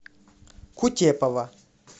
кутепова